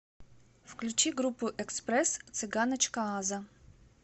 включи группу экспресс цыганочка аза